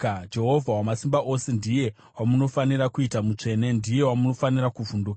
Jehovha Wamasimba Ose ndiye wamunofanira kuita mutsvene, ndiye wamunofanira kuvhunduka,